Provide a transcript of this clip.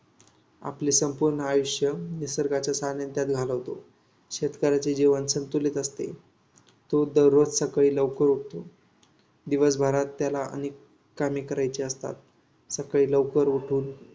आपले संपूर्ण आयुष्य निसर्गाच्या सानिध्यात घालवतो. शेतकऱ्याचे जीवन संतुलित असते. तो दररोज सकाळी लवकर उठतो. दिवसभरात त्याला अनेक कामे करायची असतात. सकाळी लवकर उठून.